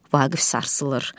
Vaqif sarsılır.